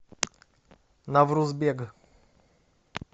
наврузбег